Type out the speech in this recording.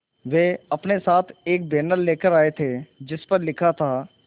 वे अपने साथ एक बैनर लाए थे जिस पर लिखा था